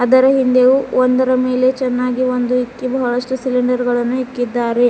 ಇದರ ಹಿಂದೆಯು ಒಂದರ ಮೇಲೆ ಚೆನ್ನಾಗಿ ಒಂದು ಇಕ್ಕಿ ಬಹಳಷ್ಟು ಸಿಲಿಂಡರ್ ಗಳನ್ನು ಇಕ್ಕಿದ್ದಾರೆ.